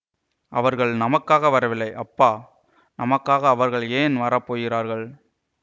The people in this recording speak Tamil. அவர்கள் நமக்காக வரவில்லை அப்பா நமக்காக அவர்கள் ஏன் வரப்போகிறார்கள்